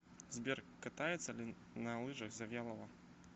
сбер катается ли на лыжах завьялова